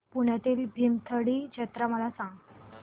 पुण्यातील भीमथडी जत्रा मला सांग